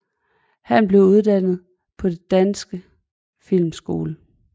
Han blev uddannet på Den Danske Filmskole